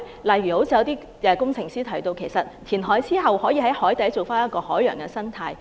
例如有工程師提到，填海之後，可以在海底重構一個海洋生態環境。